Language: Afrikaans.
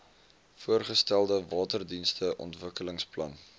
voorgestelde waterdienste ontwikkelingsplan